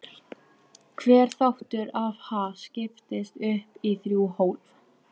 Hver þáttur af Ha? skiptist upp í þrjú hólf.